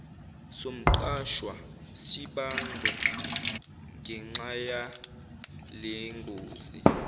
somqashwa sibangwe ngenxayalengozi